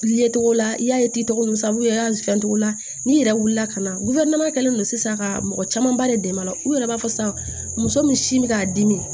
Ye togo la i y'a ye ttigi togo min sabula togo la n'i yɛrɛ wulila ka na kɛlen don sisan ka mɔgɔ caman ba de dɛmɛ la u yɛrɛ b'a fɔ sisan muso min sin bɛ k'a dimi